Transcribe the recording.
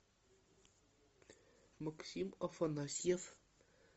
максим афанасьев